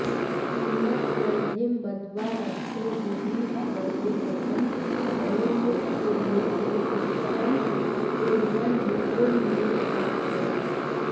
किमथ जलधिं बध्वा रक्षो विधीशवरोद्धतं बलिमुखकुलोच्छिष्टं कुर्वन् रिपुं निरपत्रयः